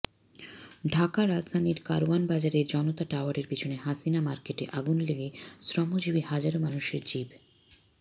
ঢাকাঃ রাজধানীর কারওয়ান বাজারের জনতা টাওয়ারের পেছনে হাসিনা মার্কেটে আগুন লেগে শ্রমজীবী হাজারো মানুষের জীব